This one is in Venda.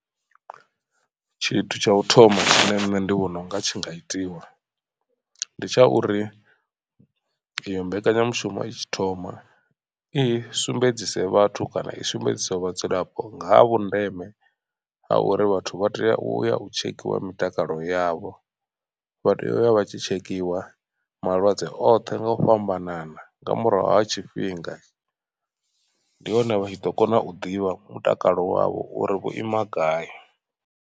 Tshithu tsha u thoma tshine nṋe ndi vhona unga tshi nga itiwa ndi tsha uri iyo mbekanyamushumo i tshi thoma i sumbedzise vhathu kana i sumbedzisiwe vhadzulapo nga ha vhundeme ha uri vhathu vha tea u ya u tshekhiwa mitakalo yavho. Vha tea u vha vha tshi tshekhiwa malwadze oṱhe nga u fhambanana nga murahu ha tshifhinga ndi hone vha tshi ḓo kona u ḓivha mutakalo wavho uri vho ima gai.